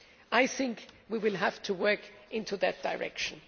I think we will have to work in that direction.